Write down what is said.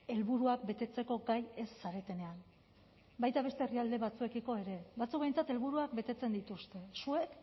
helburuak betetzeko gai ez zaretenean baita beste herrialde batzuekiko ere batzuk behintzat helburuak betetzen dituzte zuek